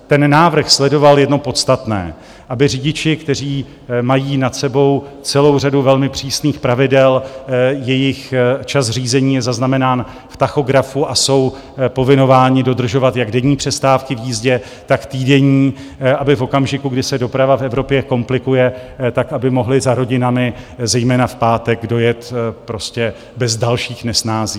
Ten návrh sledoval jedno podstatné, aby řidiči, kteří mají nad sebou celou řadu velmi přísných pravidel, jejich čas řízení je zaznamenán v tachografu a jsou povinováni dodržovat jak denní přestávky v jízdě, tak týdenní, aby v okamžiku, kdy se doprava v Evropě komplikuje, tak aby mohli za rodinami zejména v pátek dojet prostě bez dalších nesnází.